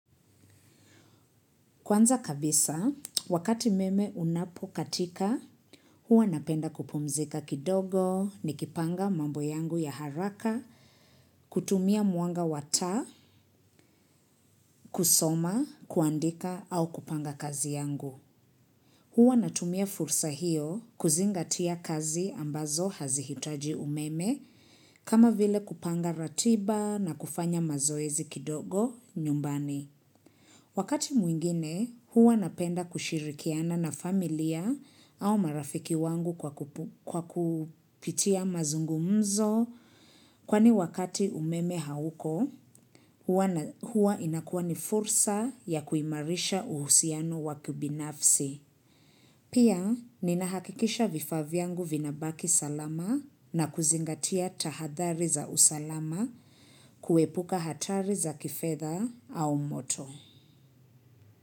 Kwanza kabisa, wakati umeme unapokatika, huwa napenda kupumzika kidogo nikipanga mambo yangu ya haraka, kutumia mwanga wa taa, kusoma, kuandika au kupanga kazi yangu. Huwa natumia fursa hiyo kuzingatia kazi ambazo hazihitaji umeme kama vile kupanga ratiba na kufanya mazoezi kidogo nyumbani. Wakati mwingine, huwa napenda kushirikiana na familia au marafiki wangu kwa kupitia mazungumzo kwani wakati umeme hauko, huwa inakuwa ni fursa ya kuimarisha uhusiano wakibinafsi. Pia, ninahakikisha vifaa vyangu vinabaki salama na kuzingatia tahadhari za usalama kuepuka hatari za kifedha au moto.